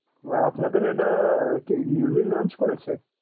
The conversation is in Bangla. ওহ আপনাদের এটা কি newly launch করেছে?